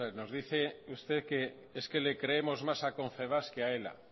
nos dice usted que le creemos más a confebask que a ela